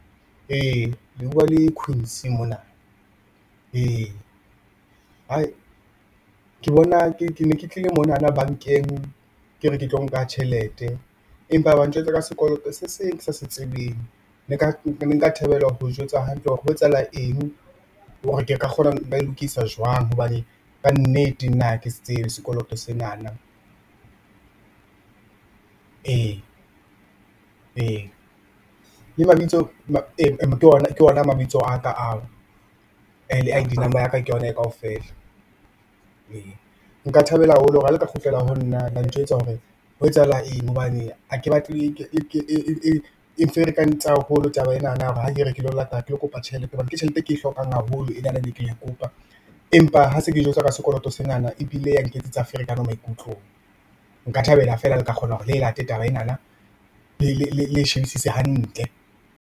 Ee, le buwa le Queen's mona ee, hai ke bona ke ne ke tlile mo nana bankeng ke re ke tlo nka tjhelete empa ba njwetsa ka sekoloto se seng se kesa se tsebeng. Ne nka thabela ho jwetsa hantle hore ho etsa hala eng hore ke ka kgona ba e lokisa jwang hobane kannete nna ha ke se tsebe sekoloto senana ee, ee, le mabitso ke ona mabitso a ka ao re, le I_D number ya ka ke yona eo kaofela ee, nka thabela haholo ha le ka kgutlela ho nna la ntjwetsa hore ho e tsahala eng hobane hake batle, eng ferekantse haholo taba e nana hore ha kere ke lo kopa tjhelete hobane ke tjhelete e ke e hlokang haholo e nana e neng ke e kopa empa ha se ke jwetswa ka sekoloto se nana ebile ya nketsetsa ferekano maikutlong. Nka thabela fela hore le e la te taba e nana le e shebisise hantle.